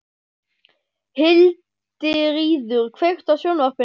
Hildiríður, kveiktu á sjónvarpinu.